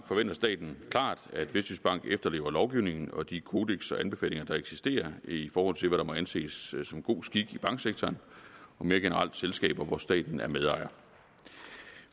forventer staten klart at vestjyskbank efterlever lovgivningen og de kodekser og anbefalinger der eksisterer i forhold til hvad der må anses som god skik i banksektoren og mere generelt selskaber hvor staten er medejer